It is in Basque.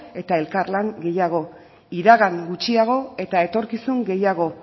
eta elkarlan gehiago iragan gutxiago eta etorkizun gehiago